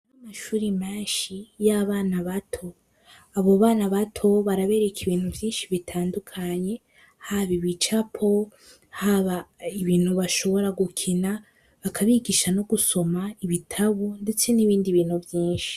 B amashuri manshi y'abana bato abo bana bato barabereka ibintu vyinshi bitandukanye haba ibicapo haba ibintu bashobora gukina bakabigisha no gusoma ibitabu, ndetse n'ibindi bintu vyinshi.